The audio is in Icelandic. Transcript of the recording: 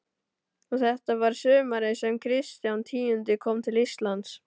Og þetta var sumarið sem Kristján tíundi kom til Íslands.